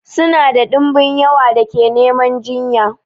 Suna da dumbin yawan da ke neman jinya.